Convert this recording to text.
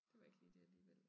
Det var ikke lige dét alligevel